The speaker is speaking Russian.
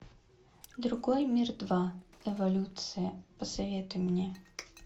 другой мир два эволюция посоветуй мне